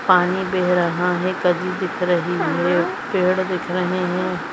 पानी बेह रहा है दिख रही है पेड़ दिख रहे है।